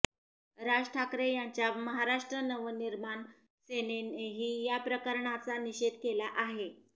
राज ठाकरे यांच्या महाराष्ट्र नवनिर्माण सेनेनेही या प्रकरणाचा निषेध केला आहे